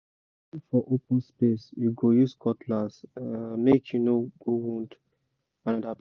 if for open space you go use cutlass—make you no go wound another person